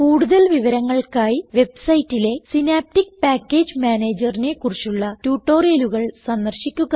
കൂടുതൽ വിവരങ്ങൾക്കായി വെബ്സൈറ്റിലെ സിനാപ്റ്റിക് പാക്കേജ് Managerനെ കുറിച്ചുള്ള ട്യൂട്ടോറിയലുകൾ സന്ദർശിക്കുക